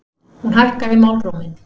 Hún hækkaði málróminn.